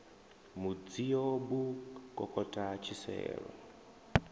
mudzio b u kokota tshiselo